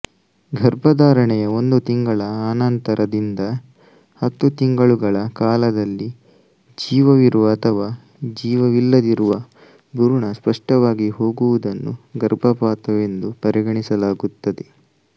ಗರ್ಭಧಾರಣೆಯ ಒಂದು ತಿಂಗಳ ಅನಂತರದಿಂದ ಹತ್ತು ತಿಂಗಳುಗಳ ಕಾಲದಲ್ಲಿ ಜೀವವಿರುವ ಅಥವಾ ಜೀವವಿಲ್ಲದಿರುವ ಭ್ರೂಣ ನಷ್ಟವಾಗಿ ಹೋಗುವುದನ್ನು ಗರ್ಭಪಾತವೆಂದು ಪರಿಗಣಿಸಲಾಗುತ್ತದೆ